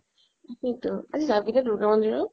তাকেই তো, আজি যাবি নে দুৰ্গা মন্দিৰত?